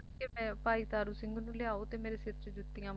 ਕਿ ਭਾਈ ਤਾਰੂ ਸਿੰਘ ਨੂੰ ਲਿਆਓ ਕਿ ਮੇਰੇ ਸਿਰ ਚ ਜੁੱਤੀਆਂ ਮਾਰੇ